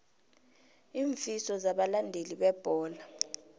iinfiso zabalandeli bebholo